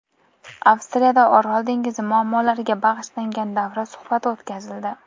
Avstriyada Orol dengizi muammolariga bag‘ishlangan davra suhbati o‘tkazildi.